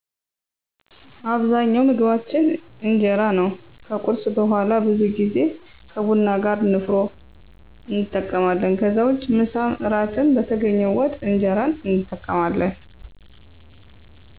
አብዛኛው ምግባችን እጀራ ነው ከቁርስ በውሀላ ብዙ ጌዜ ከቡና ጋር ነፋሮ እንጠቀማለን ከዛ ውጭ ምሳም እራትም በተገኘው ወጥ እንጀራን እንጠቀማለን